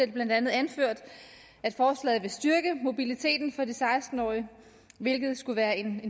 det blandt andet anført at forslaget vil styrke mobiliteten for de seksten årige hvilket skulle være en